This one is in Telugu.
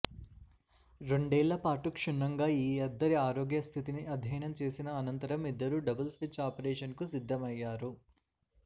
రెండేళ్ల పాటు క్షుణ్ణంగా ఈ ఇద్దరి ఆరోగ్య స్థితిని అధ్యయనం చేసిన అనంతరం ఇద్దరూ డబుల్ స్విచ్ ఆపరేషన్కు సిద్దమయ్యారు